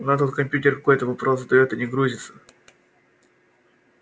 у нас тут компьютер какой-то вопрос задаёт и не грузится